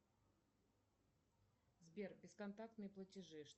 сбер бесконтактные платежи